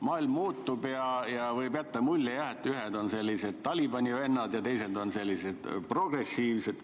Maailm muutub ja võib jääda mulje, et ühed on sellised Talibani vennad ja teised on sellised progressiivsed.